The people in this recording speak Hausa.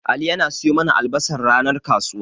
Ali yana siyo mana albasar ranar kasuwa.